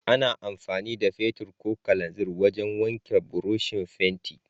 Ana amfani da fetir ko kananzir wajan wanke burushin fenti